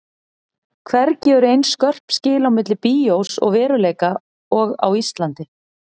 Hvergi eru eins skörp skil á milli bíós og veruleika og á Íslandi.